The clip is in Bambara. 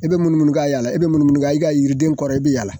E be munumunu ka yaala e be munumunu ka i ka yiriden kɔrɔ i be yaala.